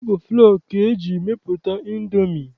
Ọ bụ flọ ka eji mepụta Indomi